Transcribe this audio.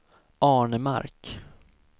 Arnemark